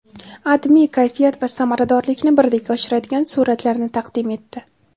AdMe kayfiyat va samaradorlikni birdek oshiradigan suratlarni taqdim etdi .